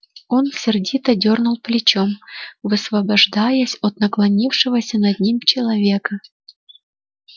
он сердито дёрнул плечом высвобождаясь от наклонившегося над ним человека